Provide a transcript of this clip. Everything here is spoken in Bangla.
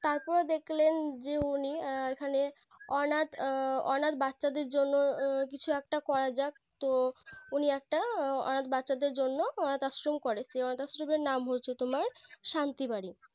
তারপরে দেখলেন যে উনি এখানে অনাথ অনাথ বাচ্চাদের জন্য কিছু একটা করা যাক তো উনি একটা অনাথ বাচ্চাদের জন্য অনাথ আশ্রম করে সেই অনাথ আশ্রমের নাম হয়েছে তোমার শান্তি বাড়ি